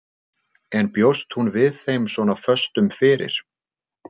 En bjóst hún við þeim svona föstum fyrir?